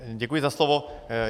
Děkuji za slovo.